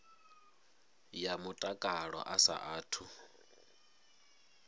ya mutakalo a sa athu